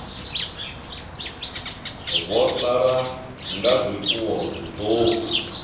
vho sala nga zwifuwo zwiṱuku